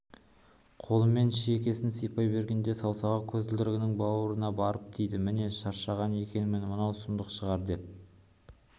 қолымен шекесін сипай бергенде саусағы көзілдірігінің бауына барып тиді мен шаршаған екенмін мынау сұмдық шығар деп